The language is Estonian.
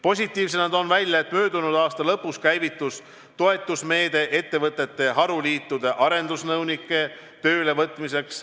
Positiivsena toon esile, et möödunud aasta lõpus käivitus toetusmeede ettevõtete haruliitudele arendusnõunike töölevõtmiseks.